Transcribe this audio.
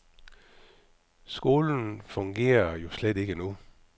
Skolen fungere jo slet ikke nu.